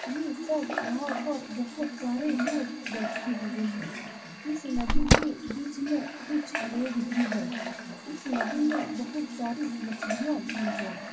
ये सब नाव पर बहुत सारे लोग बैठे हुए हैं इस नदी के बीच में कुछ लोग भी हैं इस नदी में बहुत सारी मछलियाँ भी हैं ।